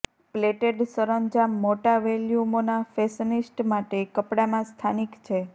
plated સરંજામ મોટા વોલ્યુમોના ફેશનિસ્ટ્સ માટે કપડામાં સ્થાનિક છે